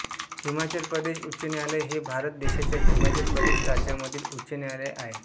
हिमाचल प्रदेश उच्च न्यायालय हे भारत देशाच्या हिमाचल प्रदेश राज्यामधील उच्च न्यायालय आहे